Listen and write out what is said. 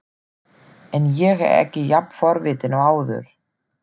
En ég er ekki jafn forvitinn og áður.